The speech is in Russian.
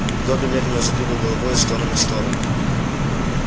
добби медленно задвигал головой из стороны в сторону